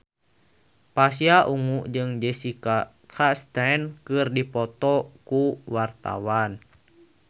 Pasha Ungu jeung Jessica Chastain keur dipoto ku wartawan